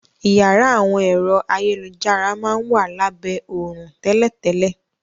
Iyàrá àwọn ẹ̀rọ ayélujára máa n wa labẹ òrùn tẹ́lẹ̀tẹ́lẹ̀.